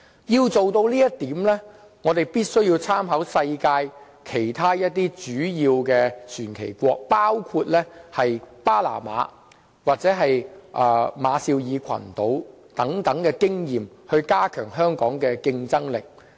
要做到這一點，我們必須以世界其他一些主要的船旗國作為參考，包括巴拿馬或馬紹爾群島等地的經驗，以期加強香港的競爭力。